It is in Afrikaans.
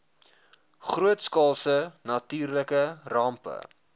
grootskaalse natuurlike rampe